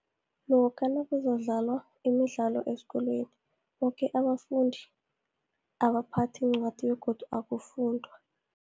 Lokha nakuzodlalwa imidlalo esikolweni, boke abafundi abaphathi iincwadi, begodu akufundwa.